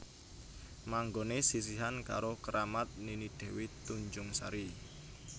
Manggoné sisihan karo keramat Nini Dewi Tunjung Sari